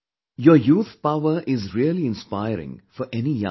Your youthpower is really inspiring for any young person